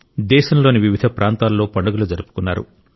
దేశంలోని వివిధ ప్రాంతాల్లో పండుగలు జరుపుకున్నారు